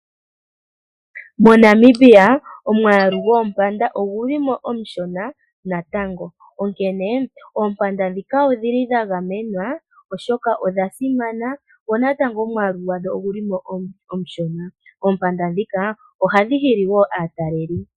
MoNamibia omwaalu goompanda ogu li mo omushona natango, onkene oompanda ndhoka odhili dha gamenwa oshoka odha simana, dho natango omwaalu gwadho oguli mo omushona. Oompanda ndhika ohadhi hili wo aataleli.